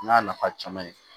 N y'a nafa caman ye